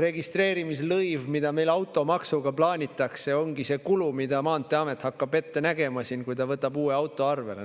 registreerimislõiv, mida meil automaksuga plaanitakse, ongi see kulu, mida maanteeamet hakkab ette nägema, kui ta võtab uue auto arvele.